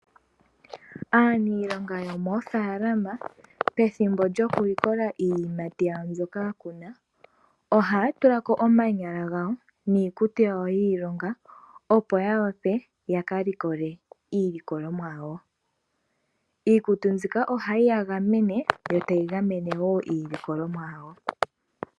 Aaniilonga yomoofaalama pethimbo lyoku likola iiyimati yawo mbyoka ya kuna, ohaya tula ko omanyala gawo niikutu yawo yiilonga opo ya wape ya ka likole iilikolomwa yawo. Iikutu mbika ohayi ya gamene yo ta yi gamene wo iilikolomwa yawo.